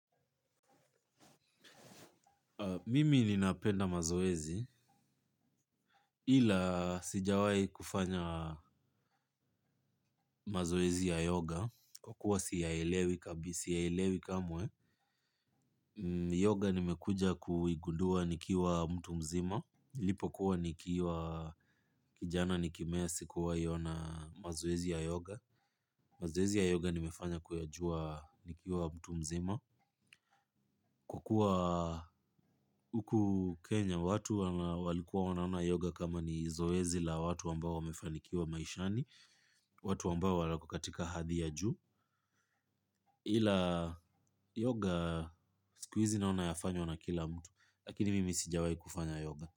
Mimi ninapenda mazoezi, ila sijawai kufanya mazoezi ya yoga, kwa kuwa siyaelewi kabi, siyaelewi kamwe, yoga nimekuja kuigundua nikiwa mtu mzima, nilipokuwa nikiwa kijana nikimea sikuwahi ona mazoezi ya yoga, mazoezi ya yoga nimefanya kuyajua nikiwa mtu mzima, kwa kuwa huku Kenya watu walikuwa wanaona yoga kama ni zoezi la watu ambao wamefanikiwa maishani. Watu ambao wako katika hadhi ya juu ila yoga siku hizi naona yafanywa na kila mtu lakini mimi sijawahi kufanya yoga.